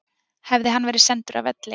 Hefði hann verið sendur af velli